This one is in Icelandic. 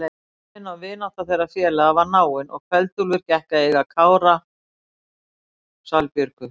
Samvinna og vinátta þeirra félaga var náin og Kveld-Úlfur gekk að eiga dóttur Kára, Salbjörgu.